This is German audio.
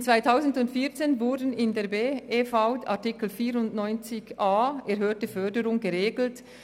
Im Jahr 2014 wurde der Artikel 94a, «Erhöhte Förderung», in die BerV aufgenommen.